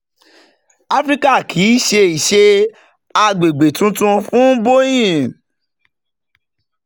"àfíríkà kì í ṣe ṣe àgbègbè tuntun fún boeing.